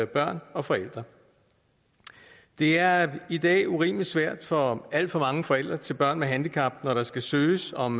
børn og forældre det er i dag urimelig svært for alt for mange forældre til børn med handicap når der skal søges om